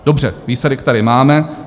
Dobře, výsledek tady máme.